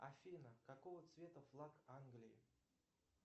афина какого цвета флаг англии